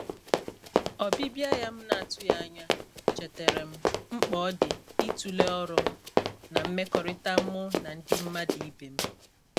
ọbibia ya m na atụghi anya, chetara m mkps ọdi itule ọrụ'm na mmekọrita mu nandi mmadu ibe m.